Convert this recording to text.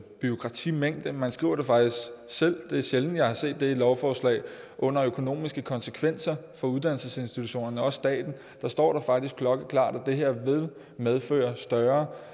bureaukratimængde man skriver det faktisk selv og det er sjældent at jeg har set det i lovforslag under økonomiske konsekvenser for uddannelsesinstitutionerne og også staten står der faktisk klokkeklart at det her vil medføre større